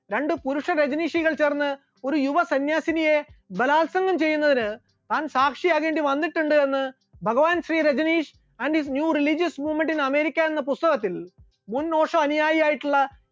രണ്ട് പുരുഷ രജനീഷികൾ ചേർന്ന് ഒരു യുവ സന്യാസിനിയെ ബലാത്സംഗം ചെയ്യുന്നതിന് താൻ സാക്ഷിയാകേണ്ടി വന്നിട്ടുണ്ട് എന്ന് Bhagwan Shri Rajneesh and his new religious movement in America എന്ന പുസ്തകത്തിൽ മുൻ ഓഷോ അനുയായി ആയിട്ടുള്ള